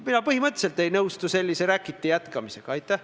Need punktid on seal inimeste pärast ja inimeste pärast tuleb need ka ellu viia.